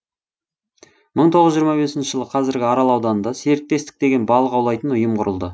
мың тоғыз жүз жиырма бесінші жылы қазіргі арал ауданында серіктестік деген балық аулайтын ұйым құрылды